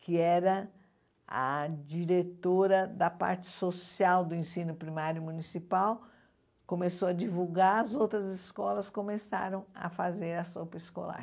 que era a diretora da parte social do ensino primário municipal, começou a divulgar, as outras escolas começaram a fazer a sopa escolar.